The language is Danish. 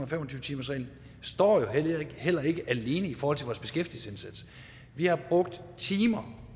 og fem og tyve timersreglen heller ikke står alene i vores beskæftigelsesindsats vi har brugt timer